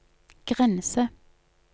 grense